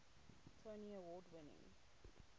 tony award winning